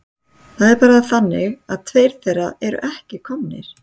Það er bara þannig að tveir þeirra eru ekki komnir.